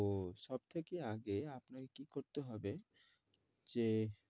তো সব থাকে আগে আপনাকে কি করতে হবে যে